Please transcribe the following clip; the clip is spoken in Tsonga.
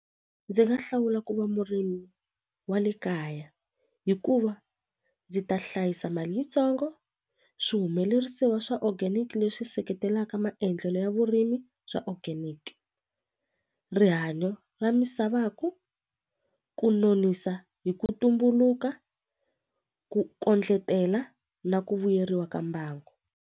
Ndzi nga hlawula ku va murimi wa le kaya hikuva ndzi ta hlayisa mali yitsongo swihumelerisiwa swa organic leswi seketelaka maendlelo ya vurimi swa organic rihanyo ra misava ku ku nonisa hi ku tumbuluka ku kondletela na ku vuyeriwa ka mbangu.